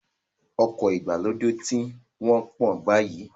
Ọkọ̀ ìgbàlódé ti ń wọ́pọ̀ báyìí